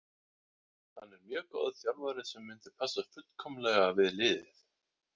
Hann er mjög góður þjálfari sem myndi passa fullkomlega við liðið.